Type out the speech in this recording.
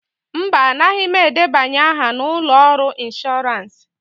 Mba, anaghị m edebanye aha na ụlọ ọrụ inshọransị.